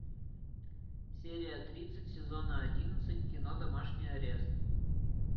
серия тридцать сезона одиннадцать кино домашний арест